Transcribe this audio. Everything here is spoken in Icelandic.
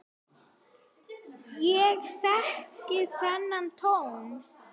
Ég þekki þennan tón.